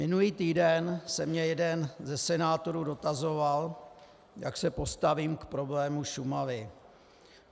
Minulý týden se mě jeden ze senátorů dotazoval, jak se postavím k problému Šumavy.